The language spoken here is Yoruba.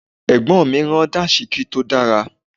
Àbúrò mi rán Dàńṣíkí tó dára